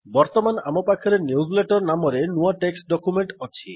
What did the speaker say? ବର୍ତ୍ତମାନ ଆମ ପାଖରେ ନ୍ୟୁଜଲେଟର ନାମରେ ନୂଆ ଟେକ୍ସଟ୍ ଡକ୍ୟୁମେଣ୍ଟ୍ ଅଛି